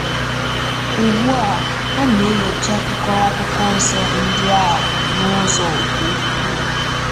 Ugbu a, a na-enyocha akụkụ Akwụkwọ Nsọ ndị a n'ụzọ ka ukwuu.